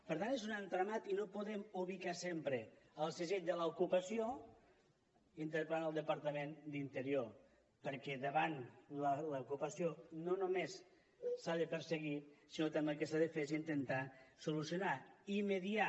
per tant és un entramat i no podem ubicar sempre el segell de l’ocupació interpel·lant el departament d’interior perquè davant l’ocupació no només s’ha de perseguir sinó que també el que s’ha de fer és intentar solucionar i mediar